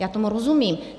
Já tomu rozumím.